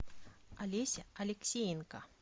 олеся алексеенко